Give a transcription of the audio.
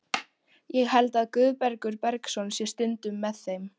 Ég held að Guðbergur Bergsson sé stundum með þeim.